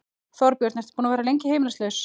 Þorbjörn: Ertu búinn að vera lengi heimilislaus?